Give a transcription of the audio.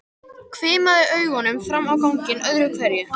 Hvimaði augunum fram á ganginn öðru hverju.